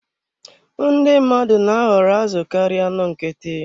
Ndị mmadụ na-ahọrọ azụ karịa anụ nkịtị.